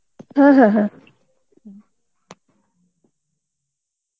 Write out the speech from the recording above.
হ্যাঁ হ্যাঁ হ্যাঁ.